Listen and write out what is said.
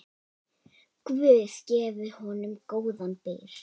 Guð gefi honum góðan byr.